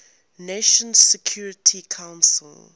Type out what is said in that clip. nations security council